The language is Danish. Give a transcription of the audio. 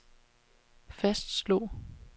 fastslog